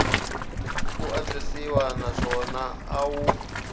ku antswisiwa naswona a wu